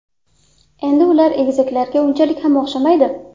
Endi ular egizaklarga unchalik ham o‘xshamaydi.